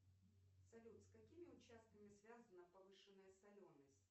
салют с какими участками связана повышенная соленость